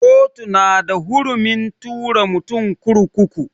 Kotu na da hurumin tura mutum kurkuku.